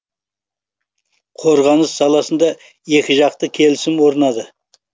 қорғаныс саласында екіжақты келісім орнады